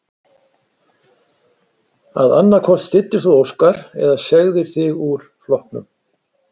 Að annað hvort styddir þú Óskar eða segðir þig úr flokknum?